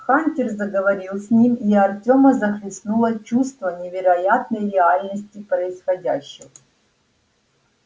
хантер заговорил с ним и артёма захлестнуло чувство невероятной реальности происходящего